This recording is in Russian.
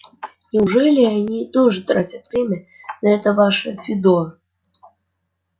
неужели и они тоже тратят время на это ваше фидо